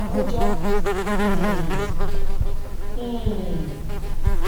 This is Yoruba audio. àkójọ um um